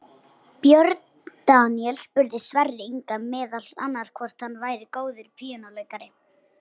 Björn Daníel spurði Sverri Inga meðal annars hvort hann væri góður píanóleikari.